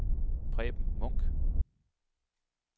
Preben Munch